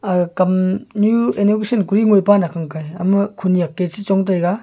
ga kamnyu inaugration kori ngoipa nakhang hai ama khonyak e chechong taiga.